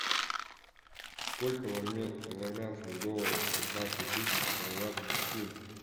сколько в армянских долларах пятнадцать тысяч хорватских кун